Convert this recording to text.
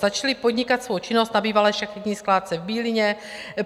Začali podnikat svou činnost na bývalé šachetní skládce v Bílině.